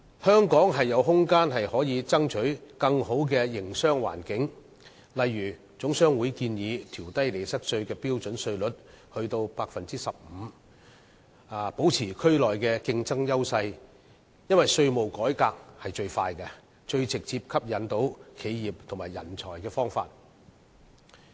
香港是有空間爭取更佳營商環境的，例如總商會建議調低利得稅標準稅率至 15%， 以保持在區內的競爭優勢，因為稅務改革是最快、最能直接吸引企業和人才的方法。